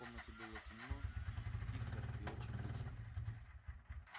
в комнате было тихо темно и очень душно